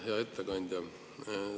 Hea ettekandja!